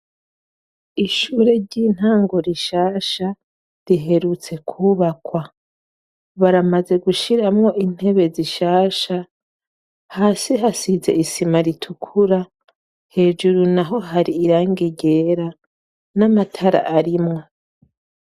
Ishure ry'intango rishasha riherutse kubaka. Baramaze gushiramwo intebe zishasha. Hasi hasize isima ritukura hejuru naho hari irangi ryera n'amatara arimwo.